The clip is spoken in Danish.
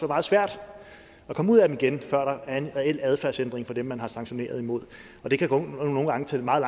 meget svært at komme ud af dem igen før er en reel adfærdsændring hos dem man har sanktioneret imod og det kan nogle gange tage meget